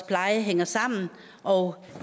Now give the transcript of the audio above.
plejen hænger sammen og